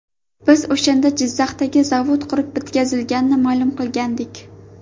Biz o‘shanda Jizzaxdagi zavod qurib bitkazilganini ma’lum qilgandik.